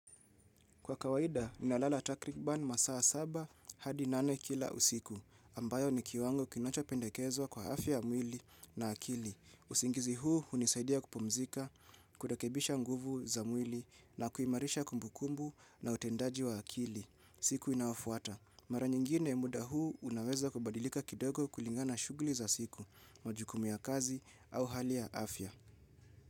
Kwa kawaida, ninalala takrikban masaa saba hadi nane kila usiku, ambayo ni kiwango kinocha pendekezwa kwa afya ya mwili na akili. Usingizi huu hunisaidia kupumzika, kurekebisha nguvu za mwili na kuimarisha kumbukumbu na utendaji wa akili. Siku inayofuata. Mara nyingine muda huu unaweza kubadilika kidogo kulingana shughuli za siku, majukumu ya kazi au hali ya afya.